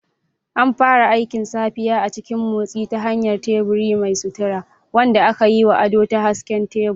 An fara aikin safiya a cikin motsi ta hanyar tebur mai sutura, wanda aka yi wa ado da hasken tebur.